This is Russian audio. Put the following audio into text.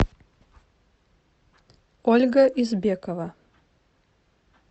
ольга избекова